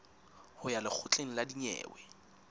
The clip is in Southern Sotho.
ho ya lekgotleng la dinyewe